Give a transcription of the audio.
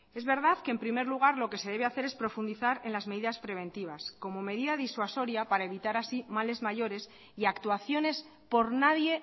es verdad que en primer lugar lo que se debe hacer es profundizar en las medidas preventivas como medida disuasoria para evitar así males mayores y actuaciones por nadie